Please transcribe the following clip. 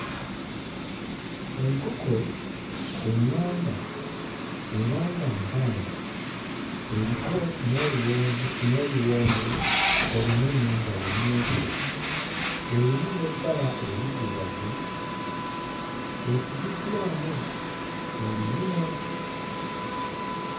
Enkoko eŋŋanda era nga mpanga eriko n'oluwonvu n'oluwonzi olunene nga lumyufu erimu n'ebbala eriddugavu esibiddwamu oluyina.